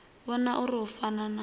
vhona uri hu fana na